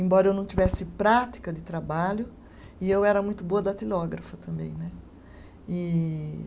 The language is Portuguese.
Embora eu não tivesse prática de trabalho, e eu era muito boa datilógrafa também, né? E